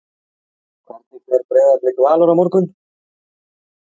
Hvernig fer Breiðablik-Valur á morgun?